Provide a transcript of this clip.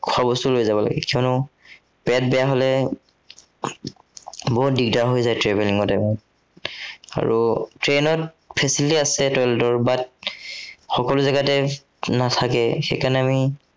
খোৱা বস্তু লৈ লব লাগে, কিয়নো পেট বেয়া হ'লে, বহুত দিগদাৰ হৈ যায় travelling ত। উম আৰু train ত facility আছে toilet ৰ উম but সকলো জাগাতে নাথাকে, সেই কাৰণে আমি